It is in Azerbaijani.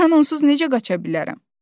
Mən onsuz necə qaça bilərəm?